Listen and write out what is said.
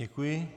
Děkuji.